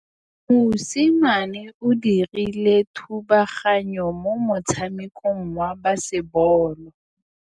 Mosimane o dirile thubaganyô mo motshamekong wa basebôlô.